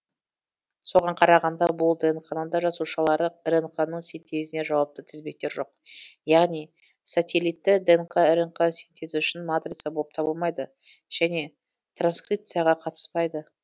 соған қарағанда бұл днқ да жасушалық рнк ның синтезіне жауапты тізбектер жоқ яғни сателитті днқ рнқ синтезі үшін матрица болып табылмайды және транскрипцияға қатыспайды